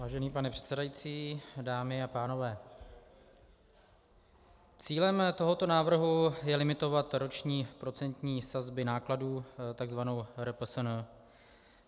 Vážený pane předsedající, dámy a pánové, cílem tohoto návrhu je limitovat roční procentní sazby nákladů, takzvanou RPSN.